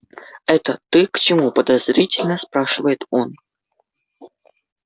это ты к чему подозрительно спрашивает он